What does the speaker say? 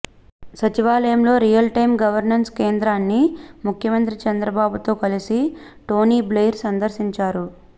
సచివాలయంలోని real time governance కేంద్రాన్ని ముఖ్యమంత్రి చంద్రబాబు తో కలిసి టోని బ్లెయిర్ సందర్శించారు